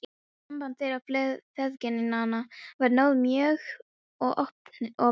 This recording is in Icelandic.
Samband þeirra feðginanna var náið mjög og opinskátt.